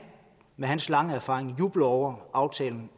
med hans lange erfaring jubler over aftalen